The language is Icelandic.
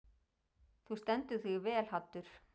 Þú stendur þig vel, Haddur!